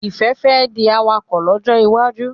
Ifẹ fè di awakọ̀ lójó iwájú.